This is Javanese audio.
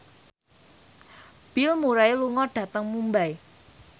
Bill Murray lunga dhateng Mumbai